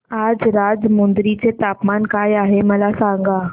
आज राजमुंद्री चे तापमान काय आहे मला सांगा